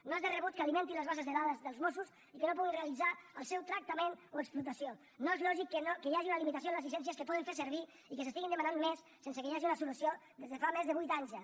no és de rebut que alimentin les bases de dades dels mossos i que no puguin realitzar el seu tractament o explotació no és lògic que hi hagi una limitació en les llicències que poden fer servir i que se n’estiguin demanant més sense que hi hagi una solució des de fa més de vuit anys ja